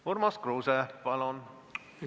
Urmas Kruuse, palun!